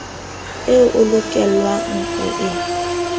eo o hlolang o e